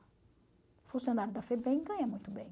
O funcionário da FEBEM ganha muito bem.